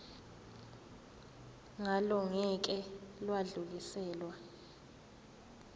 ngalo ngeke lwadluliselwa